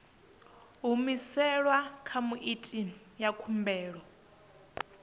humiselwa kha muiti wa khumbelo